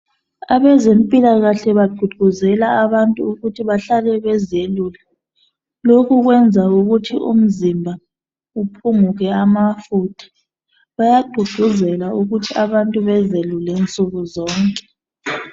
Abezempilakahle bagqugquzela abantu ukuthi bahlale bezelula , lokhu kwenza ukuthi umzimba uphunguke amafutha , bagqugquzela ukuthi abantu bezelule nsukuzonke